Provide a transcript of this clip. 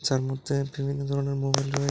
তার মধ্যে বিভিন্ন ধরনের মোবাইল রয়ে--